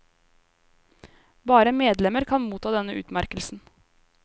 Bare medlemmer kan motta denne utmerkelsen.